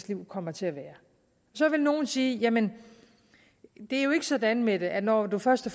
liv kommer til at være så vil nogle sige jamen det er jo ikke sådan mette at når man først har